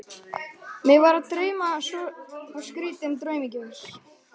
Mig var að dreyma svo skrýtinn draum í gær.